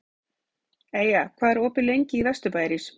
Eyja, hvað er opið lengi í Vesturbæjarís?